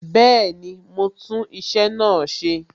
Bẹẹni, mo ń tún iṣẹ́ náà ṣe